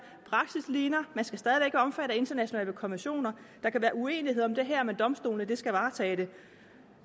praksis ligner man skal stadig omfattet af internationale konventioner der kan være uenighed om det her med domstolene de skal varetage det